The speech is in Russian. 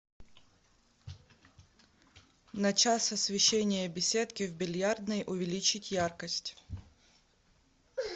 на час освещение беседки в бильярдной увеличить яркость